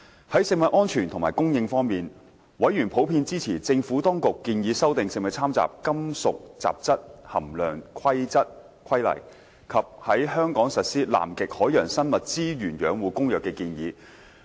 在食物安全及供應方面，委員普遍支持政府當局建議修訂《食物攙雜規例》及在香港實施《南極海洋生物資源養護公約》的建議。